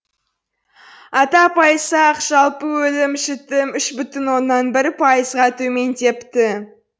атап айтсақ жалпы өлім жітім үш бүтін оннан бір пайызға төмендепті